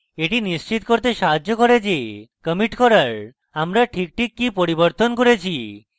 এটি নিশ্চিত করতে সাহায্য করে যে committing করার আমরা ঠিক ঠিক কি পরিবর্তন করেছি